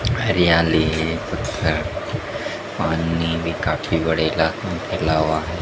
हरियाली है पानी भी काफी बड़ी ला फैला हुआ--